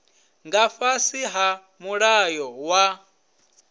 nga fhasi ha mulayo wa